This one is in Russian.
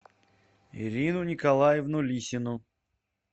ирину николаевну лисину